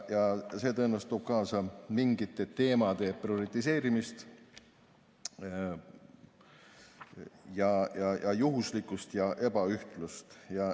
See toob tõenäoliselt kaasa mingite teemade prioritiseerimist, juhuslikkust ja ebaühtlust.